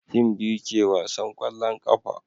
tim biyu ke wasan kwallon ƙafa